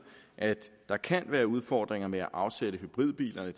at der kan være udfordringer med at afsætte hybridbilerne